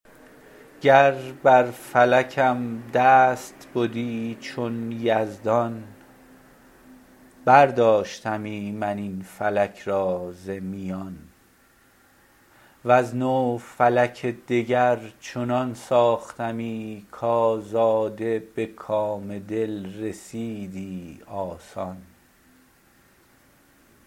گر بر فلکم دست بدی چون یزدان برداشتمی من این فلک را ز میان از نو فلک دگر چنان ساختمی کآزاده به کام دل رسیدی آسان